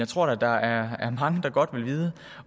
tror da der er mange der godt vil vide